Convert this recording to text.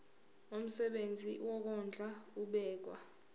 umsebenzi wokondla ubekwa